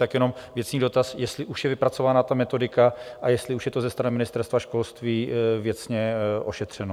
Tak jenom věcný dotaz, jestli už je vypracována ta metodika a jestli už je to ze strany Ministerstva školství věcně ošetřeno.